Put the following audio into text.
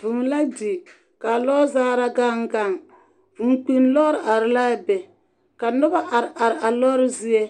Vūū la di, kaa lɔɔzaara gaŋ gaŋ. vūū kpinni lɔɔre are la a be ka noba are are a a lɔɔre zie.